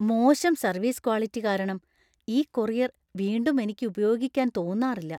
മോശം service quality കാരണം ഈ കൊറിയർ വീണ്ടും എനിക്ക് ഉപയോഗിക്കാന്‍ തോന്നാറില്ല.